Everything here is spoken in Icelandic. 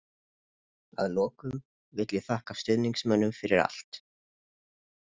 Að lokum vil ég þakka stuðningsmönnum fyrir allt.